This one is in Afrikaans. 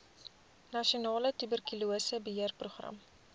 nasionale tuberkulose beheerprogram